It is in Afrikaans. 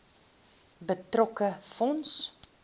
betrokke fonds